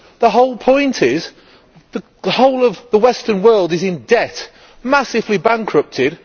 The whole point is that the whole of the Western world is in debt, massively bankrupted.